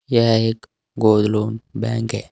यह एक gold loan bank है।